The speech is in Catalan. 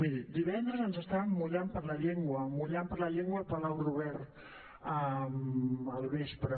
miri divendres ens estàvem mullant per la llengua mullant per la llengua al palau robert al vespre